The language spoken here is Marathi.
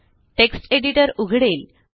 टेक्स्ट एडिटर उघडेल